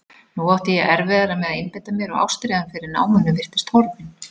Nú átti ég erfiðara með að einbeita mér og ástríðan fyrir náminu virtist horfin.